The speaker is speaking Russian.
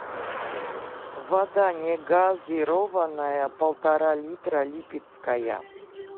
вода негазированная полтора литра липецкая